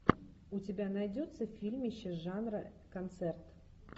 у тебя найдется фильмище жанра концерт